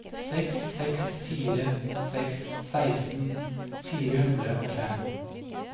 seks seks fire seks seksten fire hundre og fem